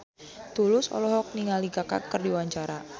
Tulus olohok ningali Kaka keur diwawancara